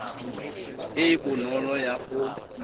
e e bonolo ya go